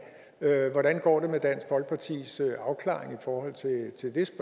hvordan går det med dansk folkeparti afklaring i forhold til det